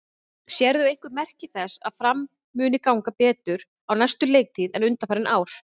Sérðu einhver merki þess að Fram muni ganga betur á næstu leiktíð en undanfarin ár?